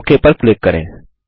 okay पर click करें